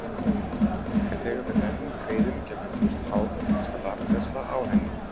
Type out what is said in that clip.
En þegar við rennum greiðunni gegnum þurrt hár myndast rafhleðsla á henni.